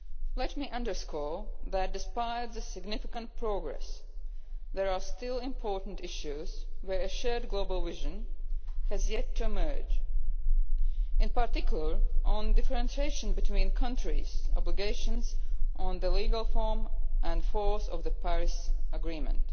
Let me underscore that, despite the significant progress, there are still important issues on which a shared global vision has yet to emerge, in particular on differentiation between countries' obligations on the legal form and force of the Paris agreement.